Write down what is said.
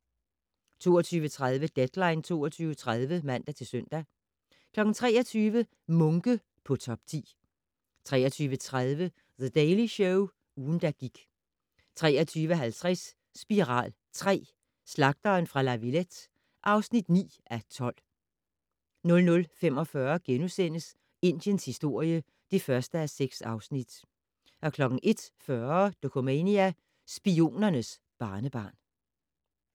22:30: Deadline 22.30 (man-søn) 23:00: Munke på top 10 23:30: The Daily Show - ugen, der gik 23:50: Spiral III: Slagteren fra La Villette (9:12) 00:45: Indiens historie (1:6)* 01:40: Dokumania: Spionernes barnebarn